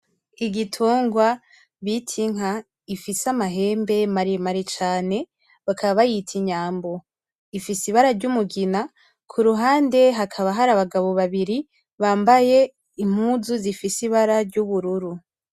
Igitungwa bita inka gifise amahembe maremare cane bakaba bayita inyambo ifise ibara ry'umugina kuruhande hakaba hari abagabo babiri bambaye impuzu zifise ibara ry'ubururu.